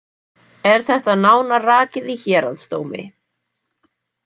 Er þetta nánar rakið í héraðsdómi.